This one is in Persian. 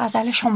ناتوان